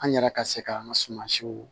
An yɛrɛ ka se k'an ka suma siw